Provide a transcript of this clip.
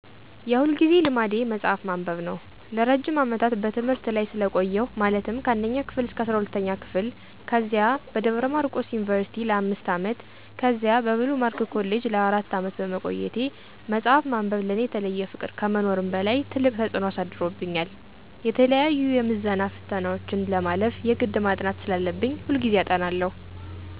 የሁልጊዜ ልማዴ መጽሐፍ ማንበብ ነው። ለረጅም አመታት በትምህርት ላይ ስለቆየሁ ማለትም ከአንደኛ ክፍል እስከ አስራሁለተኛ ክፍል፤ ከዚያ በደብረማርቆስ ዩኒቭርሲቲ ለአምስት አመት፤ ከዚያ በብሉ ማርክ ኮሌጅ ለአራት አመት በመቆየቴ መጽሐፍ ማንበብ ለእኔ የተለየ ፍቅር ከመኖርም በላይ ትልቅ ተፅዕኖ አሳድሮብኛል። የተለያዪ የምዝና ፈተናዎችን ለማለፍ የግድ ማጥናት ስላለብኝ ሁልጊዜ አጠናለሁ።